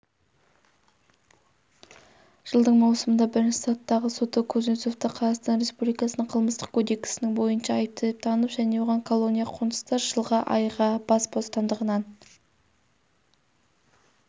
жылдың маусымында бірінші сатыдағы соты кузнецовты қазақстан республикасының қылмыстық кодексінің бойынша айыпты деп танып және оған колония-қоныста жылға айға бас бостандығынан